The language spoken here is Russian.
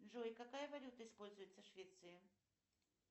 джой какая валюта используется в швеции